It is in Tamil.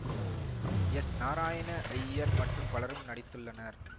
எஸ் நாராயண ஜயர் மற்றும் பலரும் நடித்துள்ளனர்